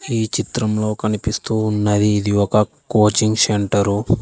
ఈ చిత్రంలో కనిపిస్తూ ఉన్నది ఇది ఒక కోచింగ్ సెంటర్ .